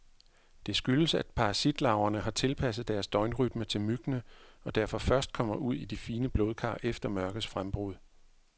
Det skyldes, at parasitlarverne har tilpasset deres døgnrytme til myggene, og derfor først kommer ud i de fine blodkar efter mørkets frembrud.